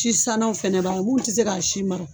Si san naw fɛnɛ b'a mun ti se ka si mara.